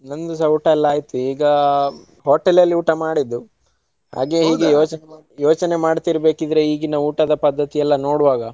ನಂದುಸ ಊಟ ಎಲ್ಲಾ ಆಯ್ತು ಈಗಾ hotel ಅಲ್ಲಿ ಊಟ ಮಾಡಿದ್ದು. ಹಾಗೆ ಹೀಗೆ ಯೋಚ್~ ಯೋಚನೆ ಮಾಡ್ತಿರ್ಬೇಕಿದ್ರೆ ಈಗಿನ ಊಟದ ಪದ್ಧತಿಯೆಲ್ಲಾ ನೋಡುವಾಗ.